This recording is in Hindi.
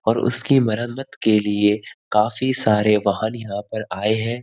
और उसकी मरम्मत के लिए काफी सारे वाहन यहाँ पे आए हैं।